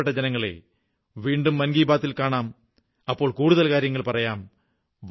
പ്രിയപ്പെട്ട ജനങ്ങളേ വീണ്ടും മൻ കീ ബാത്തിൽ കാണാം അപ്പോൾ കുടുതൽ കാര്യങ്ങൾ പറയാം